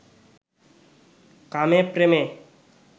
কামে প্রেমে